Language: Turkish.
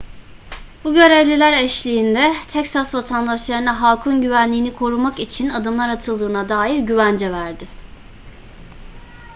bu görevliler eşliğinde teksas vatandaşlarına halkın güvenliğini korumak için adımlar atıldığına dair güvence verdi